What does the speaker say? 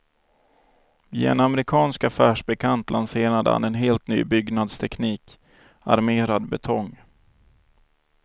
Via en amerikansk affärsbekant lanserade han en helt ny byggnadsteknik, armerad betong.